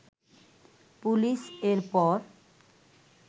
police এর পর